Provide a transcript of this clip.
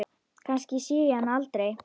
Kannski sé ég hann aldrei.